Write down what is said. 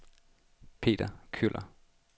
Peter Kjøller